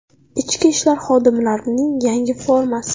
Ichki ishlar xodimlarining yangi formasi.